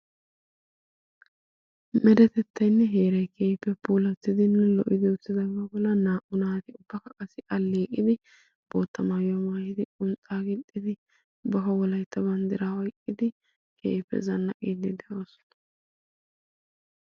Meretettaynne heeray keehippe puulattidinne lo"idi uttidaagaa bollan naa"u naatikka qassi alleeqidi bootta maayuwaa maayidi qunxxaa gixxidi aaho wolaytta banddiraa oyqqidi keehippe zannaqiiddi de'oosona.